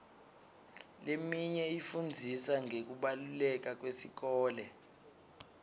leminye ifundzisa ngekubaluleka kwesikole